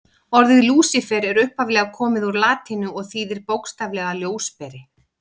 Orðið Lúsífer er upphaflega komið úr latínu og þýðir bókstaflega ljósberi.